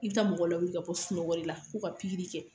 I bi taa mɔgɔw lawuli ka bɔ sunɔgɔ de la ,ko ka pikiri kɛ